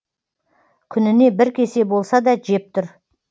күніне бір кесе болса да жеп тұр